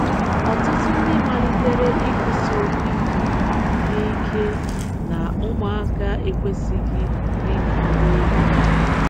Ọtụtụ ndị malitere ikwusi okwu ike na ike na ụmụaka ekwesịghị ịnya ụgbọelu.